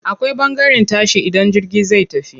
Akwai ɓangaren tashi idan jirgi zai tafi.